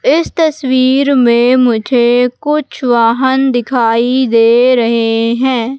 इस तस्वीर में मुझे कुछ वाहन दिखाई दे रहे हैं।